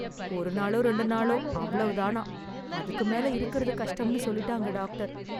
ஒரு நாளும் ரெண்டு நாளோ அவ்வளவுதானாம்! அதுக்கு மேல இருக்குறது கஷ்டம்னு சொல்லிட்டாங்க, டாக்டர்.